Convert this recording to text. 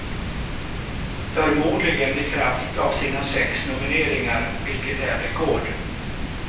Förmodligen i kraft av sina sex nomineringar vilket är rekord.